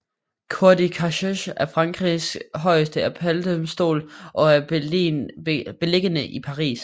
Cour de cassation er Frankrigs højeste appeldomstol og er beliggende i Paris